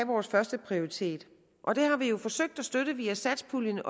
vores førsteprioritet og det har vi jo forsøgt at støtte via satspuljen